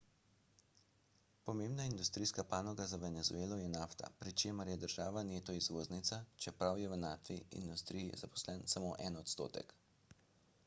pomembna industrijska panoga za venezuelo je nafta pri čemer je država neto izvoznica čeprav je v naftni industriji zaposlen samo en odstotek